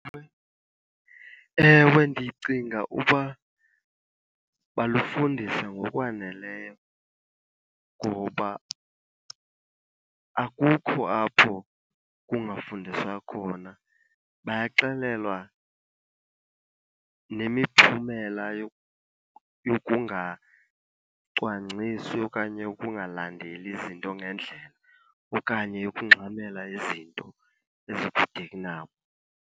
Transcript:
Ewe, ndicinga uba balufundiswa ngokwaneleyo ngoba akukho apho kungafundiswa khona. Bayaxelelwa nemiphumela yokungacwangcisi okanye ukungalandeli izinto ngendlela okanye ukungxamela izinto ezikude kunabo.